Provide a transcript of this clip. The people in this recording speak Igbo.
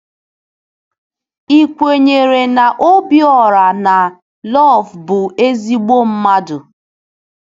Ị̀ kwenyere na Obiora na Iv bụ ezigbo mmadụ?